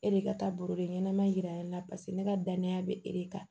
E de ka taa baro de ɲɛnama yira ne la paseke ne ka danaya bɛ e de kan